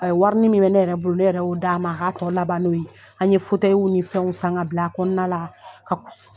Ayi warinin min bɛ ne yɛrɛ bolo ne yɛrɛ ye o d'a ma a k'a tɔ laban n'o ye an ye fɛnw san ka bila a kɔnɔna la ka